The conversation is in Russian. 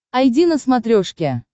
айди на смотрешке